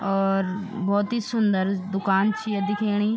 और भोत ही सुन्दर दूकान च या दिखेणी।